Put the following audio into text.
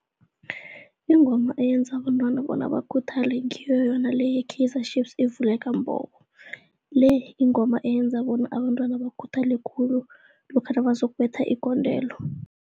Ingoma eyenza abantwana bona bakhuthale ngiyo yona le ye-Kaizer Chiefs, ivuleka mbobo le, ingoma eyenza bona abentwana bakhuthale khulu lokha nabazokubetha igondelo.